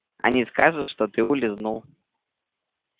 они скажут что ты улизнул